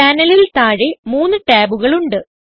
പാനലിൽ താഴെ മൂന്ന് ടാബുകൾ ഉണ്ട്